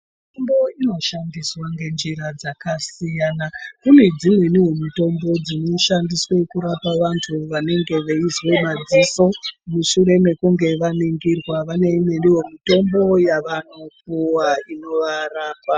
Mitombo inoshandiswa ngenjira dzakasiyana kune dzimweniwo mitombo dzinoshandiswa kurapa vantu vanenge veizwa madziso. Mushure mekunge vaningirwa vane imweniwo mitombo yavanopuva inovarapa.